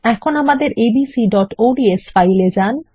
এখন লক্ষ্য নথি অর্থাত abcods এ যান